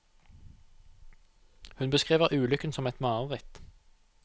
Hun beskriver ulykken som et mareritt.